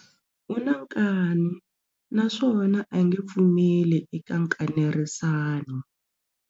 U na nkani naswona a nge pfumeli eka nkanerisano.